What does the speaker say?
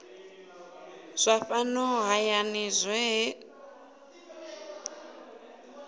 zwa fhano hayani zwohe gdp